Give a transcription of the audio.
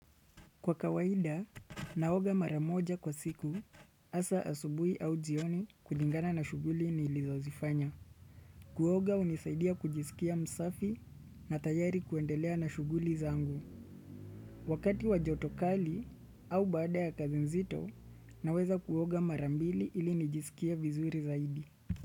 Kwa kawaida, naoga mara moja kwa siku, asubuhi au jioni kulingana na shughuli nilizozifanya. Kuoga hunisaidia kujisikia msafi na tayari kuendelea na shughuli zangu. Wakati wa joto kali au baada ya kazi nzito, naweza kuoga mara mbili ili nijisikia vizuri zaidi.